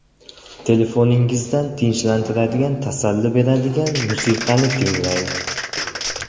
Telefoningizdan tinchlantiradigan, tasalli beradigan musiqani tinglang.